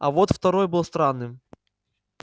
а вот второй был странным